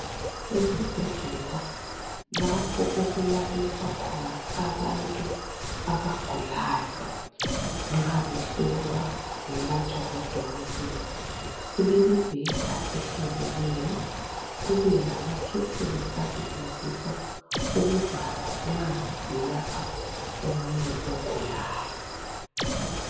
Esibhedlela lapho okulaliswa khona abantu abagulayo nxa behlolwa belatshwa ngudokotela kulemibheda eheliliyo kubelamakhetheni asetshenziswa ukuvala nxa belapha omunye ogulayo